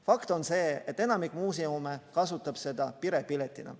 Fakt on see, et enamik muuseume kasutab seda perepiletina.